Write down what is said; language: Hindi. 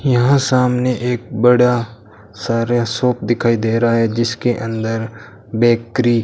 यहां सामने एक बड़ा सारा शॉप दिखाई दे रहा है जिसके अंदर बेकरी --